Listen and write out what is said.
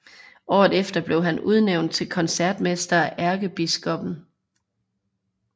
Året efter blev han udnævnt til koncertmester af ærkebiskoppen